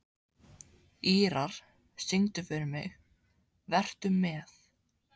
Ýrar, syngdu fyrir mig „Vertu með“.